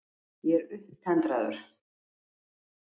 Ég er upptendraður.